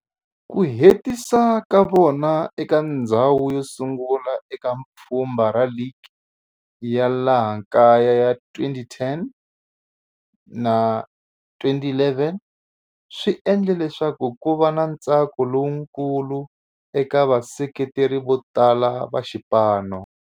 Ku hetisa ka vona eka ndzhawu yosungula eka pfhumba ra ligi ya laha kaya ya 2010-11 swi endle leswaku kuva na ntsako lowukulu eka vaseketeri votala va xipano.